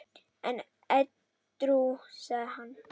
En edrú sagði hann